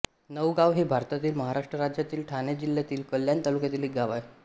नवगाव हे भारतातील महाराष्ट्र राज्यातील ठाणे जिल्ह्यातील कल्याण तालुक्यातील एक गाव आहे